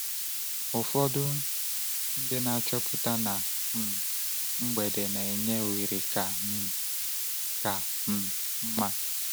Ụfọdụ ndị na-achọpụta na um mgbede na-enye ohere ka um ka um mma.